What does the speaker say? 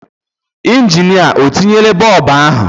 Injinịa o tinyela bọb ahụ?